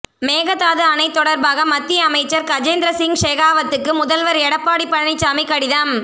மேகதாது அணை தொடர்பாக மத்திய அமைச்சர் கஜேந்திர சிங் ஷெகாவத்துக்கு முதல்வர் எடப்பாடி பழனிசாமி கடிதம்